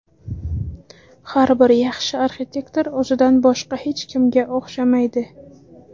Har bir yaxshi arxitektor o‘zidan boshqa hech kimga o‘xshamaydi.